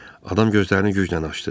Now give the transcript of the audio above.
Adam gözlərini güclə açdı.